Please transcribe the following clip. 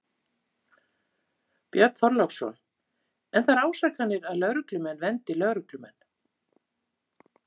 Björn Þorláksson: En þær ásakanir að lögreglumenn verndi lögreglumenn?